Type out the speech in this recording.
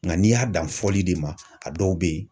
Nka n'i y'a dan fɔli de ma, a dɔw bɛ yen